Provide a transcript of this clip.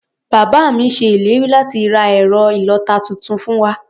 Bàbá mi ṣe ìlérí láti ra ẹ̀rọ ìlọ-ata tuntun fún wa.